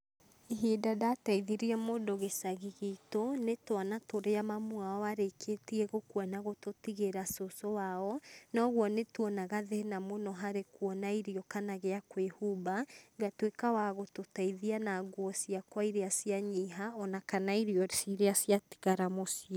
Ihinda ndateithirie mũndũ gĩcagi gitũ nĩ twana tũrĩa mamu wao arĩkĩtie gũkua na gũtũtigĩra cũcũ wao na ũguo nĩtuonaga thĩna mũno harĩ kuona irio kana gĩa kwĩhumba, ngatuĩka wa gũtũteithia na nguo ciakwa iria cianyiha o na kana irio ciria ciatigara muciĩ.